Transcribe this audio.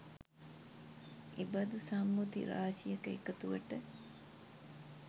එබඳු සම්මුති රාශියක එකතුවට